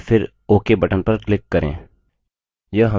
और फिर ok button पर click करें